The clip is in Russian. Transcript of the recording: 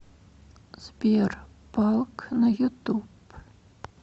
сбер палк на ютуб